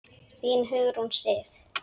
Þín, Hugrún Sif.